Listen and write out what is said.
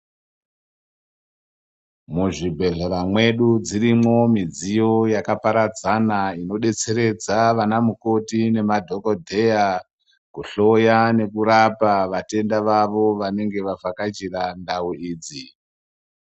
Muzvibhedhlera mwedu dzirimwo midziyo yakaparadzana inodetseredza vanamukoti nemadhokodheya kuhloya nekurapa vatenda vavo vanenge vavhakachira ndau idzo.